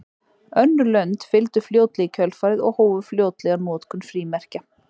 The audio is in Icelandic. Önnur lönd fylgdu fljótlega í kjölfarið og hófu fljótlega notkun frímerkja.